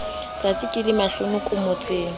tsatsi ke le mahlonoko motseng